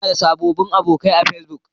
Ina da sababbin abokai a Facebook.